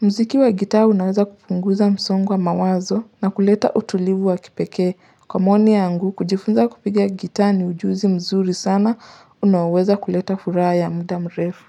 Mziki wa gitaa unaweza kupunguza msongo wa mawazo na kuleta utulivu wa kipekee. Kwa maoni yangu, kujifunza kupiga gitaa ni ujuzi mzuri sana, unaoweza kuleta furaha ya muda mrefu.